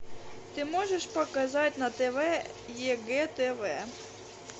ты можешь показать на тв егэ тв